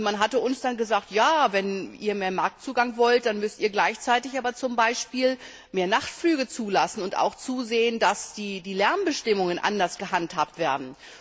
Man hat uns dort gesagt Wenn Ihr mehr Marktzugang wollt, dann müsst Ihr aber gleichzeitig auch mehr Nachtflüge zulassen und auch zusehen, dass die Lärmbestimmungen anders gehandhabt werden.